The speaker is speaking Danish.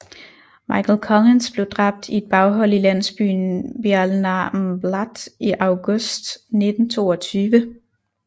Michael Collins blev dræbt i et baghold i landsbyen Béal na mBláth i august 1922